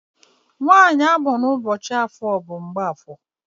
nwanyị amụrụ ụbọchị afọ bụ Mgbafọ.